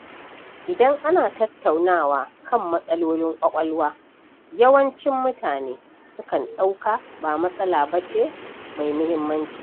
Idan ana tattaunawa kan matsalolin ƙwaƙwalwa, yawancin mutane sukan ɗauka ba matsala bace mai muhimmanci.